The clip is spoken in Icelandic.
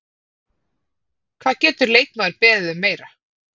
Hvað getur leikmaður beðið um meira?